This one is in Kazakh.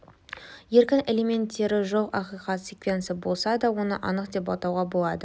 еркін элементтері жоқ ақиқат секвенция болса да оны анық деп атауға болады